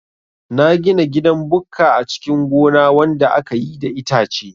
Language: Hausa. Na gina gidan bukka a cikin gona wanda akayi da itace